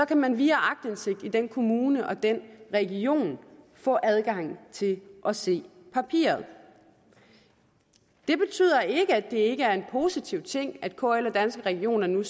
kan man via aktindsigt i den kommune og den region få adgang til at se papiret det betyder ikke at det ikke er en positiv ting at kl og danske regioner nu